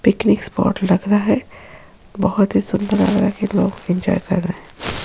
Picnic spot लग रहा है बहुत ही सुन्दर लग रहा है लोग एन्जॉय कर रहा है।